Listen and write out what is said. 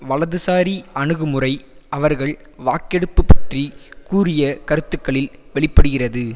வலதுசாரி அணுகுமுறை அவர்கள் வாக்கெடுப்பு பற்றி கூறிய கருத்துக்களில் வெளி படுகிறது